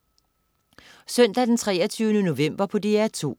Søndag den 23. november - DR2: